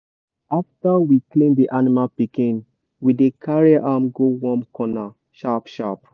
after we clean the animal pikin we dey carry am go warm corner sharp sharp.